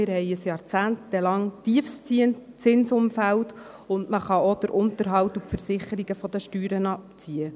Wir haben ein jahrzehntelanges Tiefstzinsumfeld, und man kann auch den Unterhalt und die Versicherungen von den Steuern abziehen.